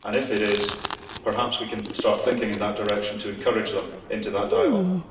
If it is, perhaps we can start thinking in that direction to encourage them into that dialogue.